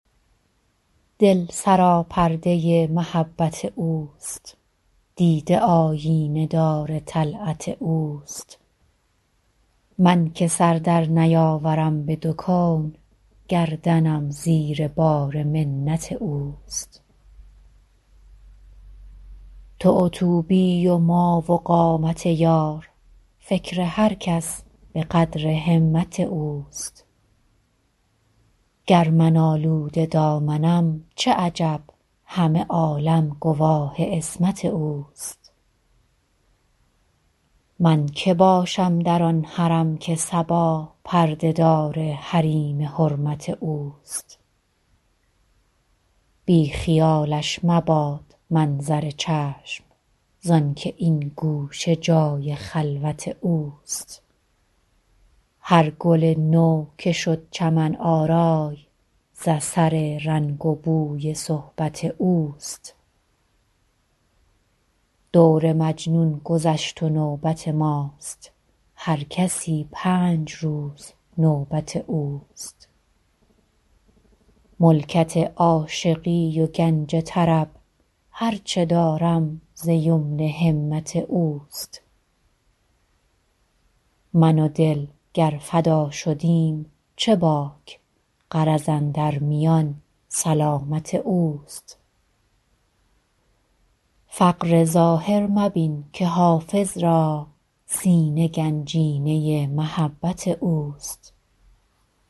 دل سراپرده محبت اوست دیده آیینه دار طلعت اوست من که سر در نیاورم به دو کون گردنم زیر بار منت اوست تو و طوبی و ما و قامت یار فکر هر کس به قدر همت اوست گر من آلوده دامنم چه عجب همه عالم گواه عصمت اوست من که باشم در آن حرم که صبا پرده دار حریم حرمت اوست بی خیالش مباد منظر چشم زآن که این گوشه جای خلوت اوست هر گل نو که شد چمن آرای ز اثر رنگ و بوی صحبت اوست دور مجنون گذشت و نوبت ماست هر کسی پنج روز نوبت اوست ملکت عاشقی و گنج طرب هر چه دارم ز یمن همت اوست من و دل گر فدا شدیم چه باک غرض اندر میان سلامت اوست فقر ظاهر مبین که حافظ را سینه گنجینه محبت اوست